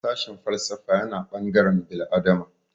Sashin falsafa yana ɓangaren bil'adama